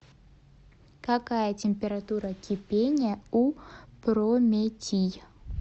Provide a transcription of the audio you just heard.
какая температура кипения у прометий